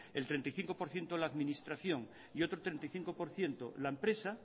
el treinta y cinco por ciento la administración y otros treinta y cinco por ciento la empresa